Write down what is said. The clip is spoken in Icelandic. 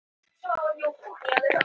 Varða, hvað er í dagatalinu mínu í dag?